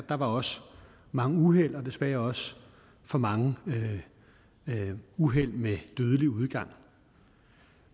der var også mange uheld og desværre også for mange uheld med dødelig udgang